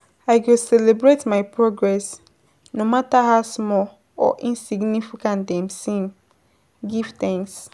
I go celebrate my progress, no matter how small or insignificant dem seem, give thanks.